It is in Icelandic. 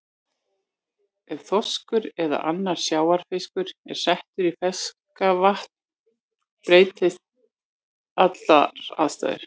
Ef þorskur eða annar sjávarfiskur er settur í ferskvatn breytast allar aðstæður.